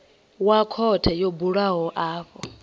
wa khothe yo bulwaho afho